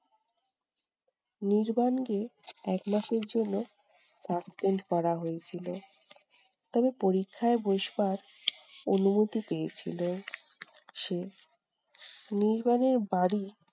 নির্বাণকে একমাসের জন্য suspend করা হয়েছিল। তবে পরীক্ষায় বসবার অনুমতি পেয়েছিলো সে। নির্বাণের বাড়ি